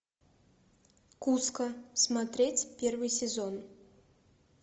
куско смотреть первый сезон